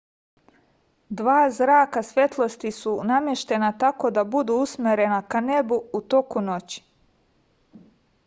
dva zraka svetlosti su nameštena tako da budu usmerena ka nebu u toku noći